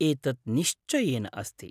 एतत् निश्चयेन अस्ति।